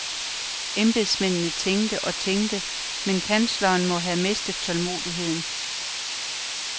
Embedsmændene tænkte og tænkte, men kansleren må have mistet tålmodigheden.